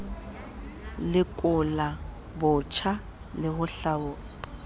lekola botjha le ho hlaola